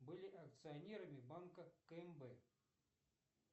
были акционерами банка кмб